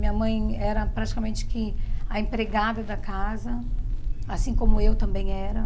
Minha mãe era praticamente que a empregada da casa, assim como eu também era.